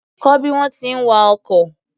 Kọ́ bí wọ́n ti ń wa ọkọ̀.